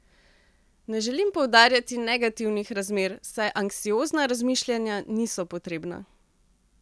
Ne želim poudarjati negativnih razmer, saj anksiozna razmišljanja niso potrebna.